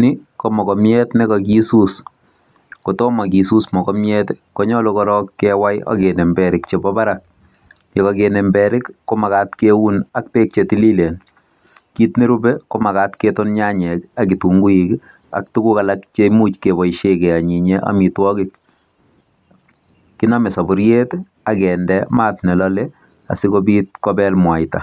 Ni ko mogobjat ne kagisuus, kotom kisuus mogobjat konyolu koorong kewai ak kinem berik chebo barak. Ye koginem berik komagat keun ak beek che tililen. Kiit ne rupe komagat keton nyanyek ak kitunguuik ak tuguk alak cheimuch keboishen keanyinyen amitwogik. Kinome soboriet ak kinde maat ne lole asikobit kobel mwaita.